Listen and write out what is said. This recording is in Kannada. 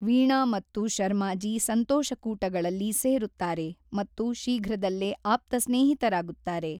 ವೀಣಾ ಮತ್ತು ಶರ್ಮಾಜಿ ಸಂತೋಷಕೂಟಗಳಲ್ಲಿ ಸೇರುತ್ತಾರೆ ಮತ್ತು ಶೀಘ್ರದಲ್ಲೇ ಆಪ್ತ ಸ್ನೇಹಿತರಾಗುತ್ತಾರೆ.